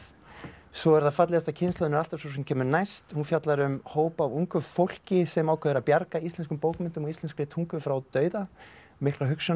svo er það fallegasta kynslóðin er alltaf sú sem kemur næst hún fjallar um hóp af ungu fólki sem ákveður að bjarga íslenskum bókmenntum og íslenskri tungu frá dauða miklar hugsjónir